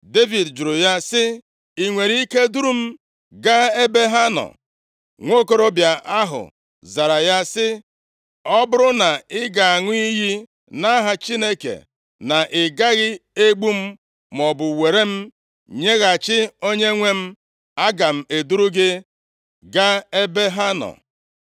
Devid jụrụ ya sị, “I nwere ike duru m gaa ebe ha nọ.” Nwokorobịa ahụ zara ya sị, “Ọ bụrụ na ị ga-aṅụ iyi nʼaha Chineke na ị gaghị egbu m maọbụ were m nyeghachi onyenwe m, aga m eduru gị gaa ebe ha nọ.”